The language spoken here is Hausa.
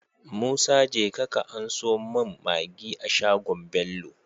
Musa jeka ka anso mun maggi a shagon bello